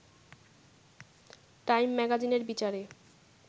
time ম্যাগাজিনের বিচারে